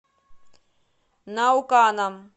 науканом